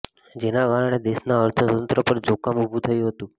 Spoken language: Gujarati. જેના કારણે દેશના અર્થતંત્ર પર જોખમ ઉભું થયું હતું